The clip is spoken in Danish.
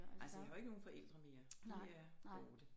Altså jeg har jo ikke nogen forældre mere de er borte